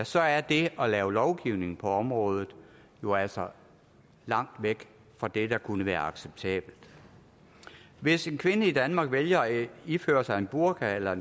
så er det at lave lovgivning på området jo altså langt væk fra det der kunne være acceptabelt hvis en kvinde i danmark vælger at iføre sig en burka eller